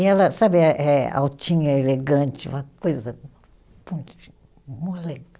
E ela, sabe, eh eh altinha, elegante, uma coisa